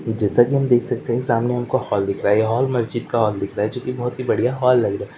जैसा कि हम देख सकते हैं सामने हमको हॉल दिख रहा है जो मस्जिद का हॉल दिख रहा है जो कि बहुत ही बढ़िया हॉल लग रहा है।